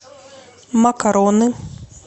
макароны